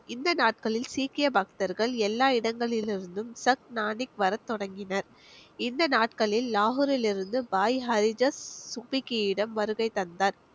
இந்த நாட்களில் சீக்கிய பக்தர்கள் எல்லா இடங்களிலிருந்தும் சக்னானிக் வர தொடங்கினர் இந்த நாட்களில் லாகூரில் இருந்து பாய் வருகை தந்தார்